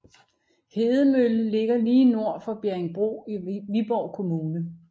Hedemølle ligger lige nord for Bjerringbro i Viborg Kommune